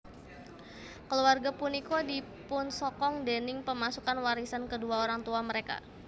Keluarga punika dipunsokong déning pemasukan warisan kedua orang tua mereka